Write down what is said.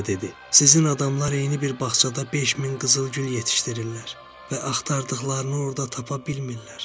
"Sizin adamlar eyni bir bağçada beş min qızıl gül yetişdirirlər və axtardıqlarını orda tapa bilmirlər."